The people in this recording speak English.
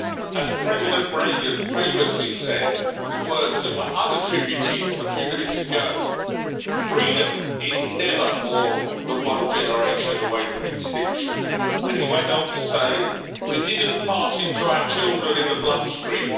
As President Reagan famously said in words that were unattributed a few minutes ago Freedom is never more the one generation away from extinction'. He went on to say We didn't pass it to our children in the bloodstream.